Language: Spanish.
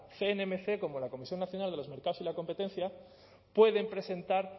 cnmc como la comisión nacional de los mercados y la competencia pueden presentar